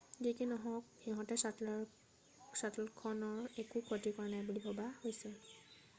যি কি নহওক সিহঁতে শ্বাটলখনৰ একো ক্ষতি কৰা নাই বুলি ভবা হৈছে